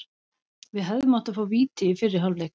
Við hefðum átt að fá víti í fyrri hálfleik.